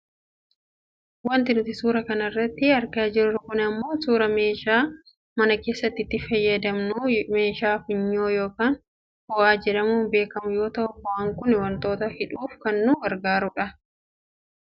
Wanti nuti suuraa kanarratti argaa jirru kun ammoo suuraa meeshaa mana keessaatti itti fayyadamnu meeshaa funyoo yookaan fo'aa jedhamuun beekkamu yoo ta'u fo'aan kun wantoota hidhuuf kan nu gargaaru dha.